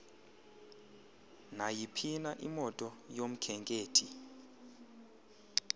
nayiphina imoto yomkhenkethi